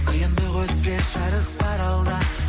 қиындық өтсе жарық бар алда